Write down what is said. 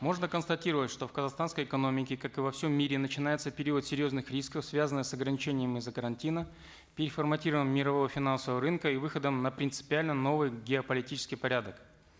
можно констатировать что в казахстанской экономике как и во всем мире начинается период серьезных рисков связанных с ограничением из за карантина переформатированием мирового финансового рынка и выходом на принципиально новый геополитический порядок